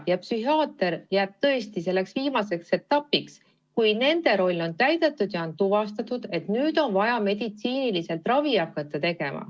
Psühhiaater jäägu tõesti selleks viimaseks etapiks, kui teiste spetsialistide roll on täidetud ja on tuvastatud, et nüüd on vaja meditsiinilist ravi.